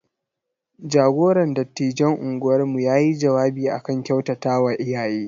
Jagoran dattijan unguwarmu ya yi jawabi a kan kyautatawa iyaye.